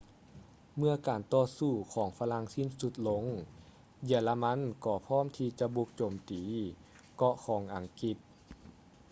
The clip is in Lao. ເມື່ອການຕໍ່ສູ້ຂອງຝຣັ່ງສິ້ນສຸດລົງ ເຢຍລະມັນກໍພ້ອມທີ່ຈະບຸກໂຈມຕີເກາະຂອງອັງກິດ